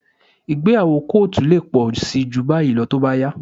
Ìgbéyàwó kóòtù lè pọ̀ síi jù báyìí lọ tó bá yá